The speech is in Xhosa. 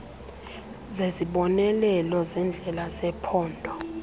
zezibonelelo zendlela zephondo